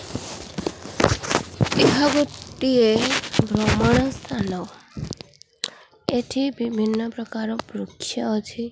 ଏହା ଗୋଟିଏ ଭ୍ରମଣ ସ୍ଥାନ ଏଠି ବିଭିନ୍ନ ପ୍ରକାରର ବୃକ୍ଷ ଅଛି।